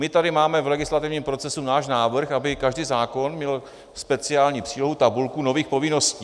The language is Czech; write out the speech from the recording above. My tady máme v legislativním procesu náš návrh, aby každý zákon měl speciální přílohu, tabulku nových povinností.